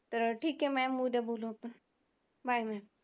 तर ठीक हे mam उद्या बोलू आपण bye mam